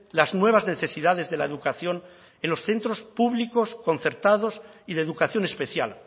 las nuevas necesidades de la educación en los centros públicos concertados y de educación especial